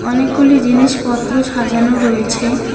অনেকগুলি জিনিসপত্র সাজানো রয়েছে।